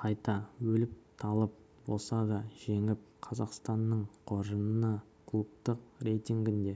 қайта өліп-талып болса да жеңіп қазақстанның қоржынына клубтық рейтингінде